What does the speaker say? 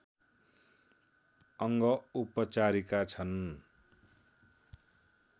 अङ्ग उपचारिका छन्